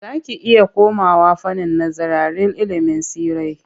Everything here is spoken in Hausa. Za ki iya komawa fannin nazararil ilimin tsirrai.